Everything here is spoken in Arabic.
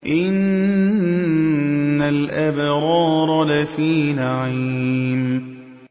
إِنَّ الْأَبْرَارَ لَفِي نَعِيمٍ